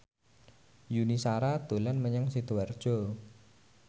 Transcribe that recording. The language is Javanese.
Yuni Shara dolan menyang Sidoarjo